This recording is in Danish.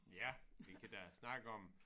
Ja vi kan da snakke om